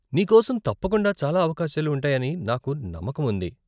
నీకోసం తప్పకుండా చాలా అవకాశాలు ఉంటాయని నాకు నమ్మకముంది.